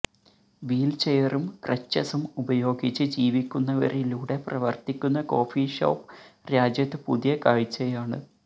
വീൽച്ചെയറും ക്രെച്ചസും ഉപയോഗിച്ച് ജീവിക്കുന്നവരിലൂടെ പ്രവർത്തിക്കുന്ന കോഫി ഷോപ്പ് രാജ്യത്ത് പുതിയ കാഴ്ചയാണ്